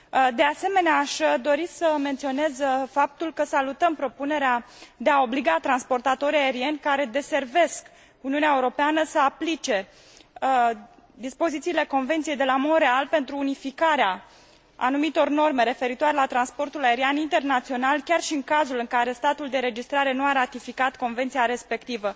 De asemenea, aș dori să menționez faptul că salutăm propunerea de a obliga transportatorii aerieni, care deservesc Uniunea Europeană, să aplice dispozițiile Convenției de la Montréal pentru unificarea anumitor norme referitoare la transportul aerian internațional, chiar și în cazul în care statul de înregistrare nu a ratificat convenția respectivă.